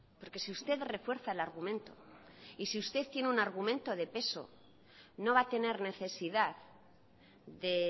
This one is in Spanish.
porque si usted refuerza el argumento y si usted tiene un argumento de peso no va a tener necesidad de